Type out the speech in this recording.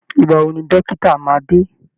Ìgbà wo ni dókítà máa dé?